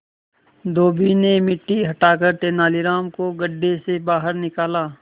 धोबी ने मिट्टी हटाकर तेनालीराम को गड्ढे से बाहर निकाला